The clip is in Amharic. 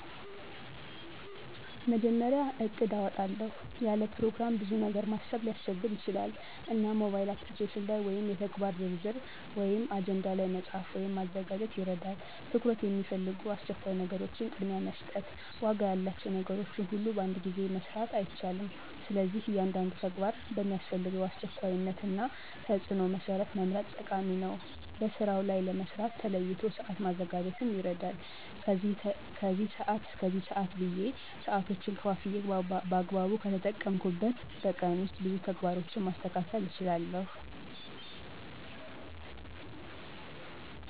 መጀመሪያ እቅድ አወጣለሁ። ያለ ፕሮግራም ብዙ ነገር ማሰብ ሊያስቸግር ይችላል። እና ሞባይል app ላይ ወይም የተግባር ዝርዝር(አጀንዳ ላይ)መፃፍ ወይም ማዘጋጀት ይረዳል። ትኩረት የሚፈልጉ አስቸኳይ ነገሮችን ቅድሚያ መስጠት፣ ዋጋ ያላቸው ነገሮች ሁሉን በአንድ ጊዜ መስራት አይቻልም፣ ስለዚህ እያንዳንዱ ተግባር በሚያስፈልገው አስቸኳይነት እና ተፅዕኖው መሠረት መምረጥ ጠቃሚ ነው። በስራዉ ላይ ለመስራት ተለይቶ ሰአት ማዘጋጀትም ይረዳል። ከዚህ ሰአት እሰከዚህ ሰአት ብየ ሰአቶችን ከፋፍየ በአግባቡ ከተጠቀምኩበት በቀን ዉስጥ ብዙ ተግባሮችን ማስተካከል እችላለሁ።